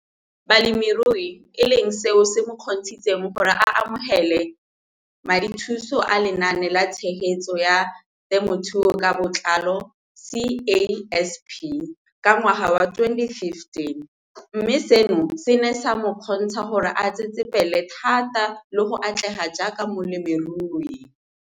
Balemirui e leng seo se mo kgontshitseng gore a amogele madithuso a Lenaane la Tshegetso ya Te mothuo ka Botlalo, CASP] ka ngwaga wa 2015, mme seno se ne sa mo kgontsha gore a tsetsepele thata le go atlega jaaka molemirui.